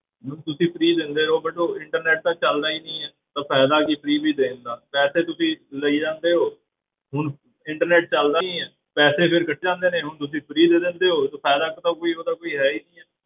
Ma'am ਤੁਸੀਂ free ਦਿੰਦੇ ਹੋ but ਉਹ internet ਤਾਂ ਚੱਲਦਾ ਹੀ ਨੀ ਹੈ ਤਾਂ ਫ਼ਾਇਦਾ ਵੀ ਕੀ free ਵੀ ਦੇਣ ਦਾ ਪੈਸੇ ਤੁਸੀਂ ਲਈ ਜਾਂਦੇ ਹੋ ਹੁਣ internet ਚੱਲਦਾ ਨੀ ਹੈ, ਪੈਸੇ ਫਿਰ ਕੱਟ ਜਾਂਦੇ ਨੇ ਹੁਣ ਤੁਸੀਂ free ਦੇ ਦਿੰਦੇ ਹੋ ਤਾਂ ਫ਼ਾਇਦਾ ਫ਼ੁਇਦਾ ਕੋਈ ਉਹਦਾ ਕੋਈ ਹੈ ਹੀ ਨੀ ਹੈ